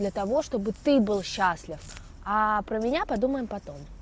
для того чтобы ты был счастлив а про меня подумаем потом